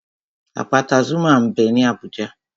Àpáta Zuma m bẹ ní Abùjá